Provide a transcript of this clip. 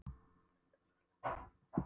Hann hlaut að vera hlægilegur í augum hennar.